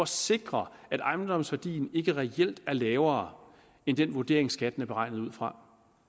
sikrer at ejendomsværdien ikke reelt er lavere end den vurdering skatten er beregnet ud fra